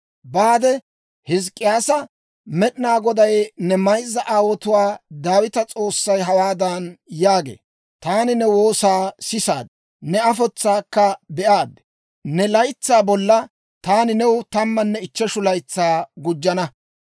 «Baade; Hizk'k'iyyaasa, Med'inaa Goday ne mayzza aawuwaa Daawita S'oossay hawaadan yaagee; ‹Taani ne woosaa sisaad; ne afotsaakka be'aad. Ne laytsaa bolla taani new tammanne ichcheshu laytsaa gujjana.